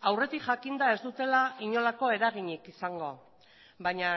aurretik jakinda ez dutela inolako eraginik izango baina